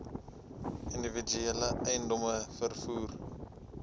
individuele eiendomme vervoer